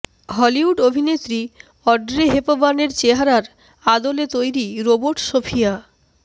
Hollywood অভিনেত্রী Audrey হেপবার্নের চেহারার আদলে তৈরি রোবট সোফিয়া